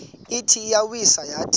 ithi iyawisa yathi